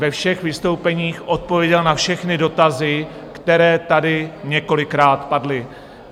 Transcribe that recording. Ve všech vystoupeních odpověděl na všechny dotazy, které tady několikrát padly.